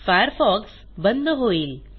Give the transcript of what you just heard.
Firefox बंद होईल